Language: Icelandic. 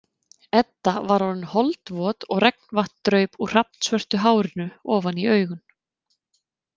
Edda var orðin holdvot og regnvatn draup úr hrafnsvörtu hárinu ofan í augun.